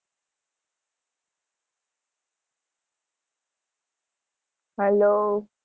hello